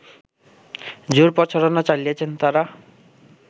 জোর প্রচারণা চালিয়েছেন তারা